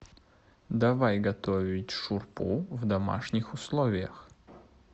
давай готовить шурпу в домашних условиях